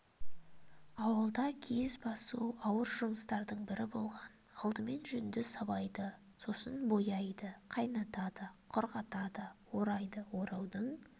ауылда киіз басу ауыр жұмыстардың бірі болған алдымен жүнді сабайды сосын бояйды қайнатады құрғатады орайды ораудың